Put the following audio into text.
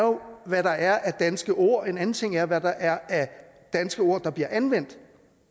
hvad der er af danske ord mens en anden ting er hvad der er af danske ord der bliver anvendt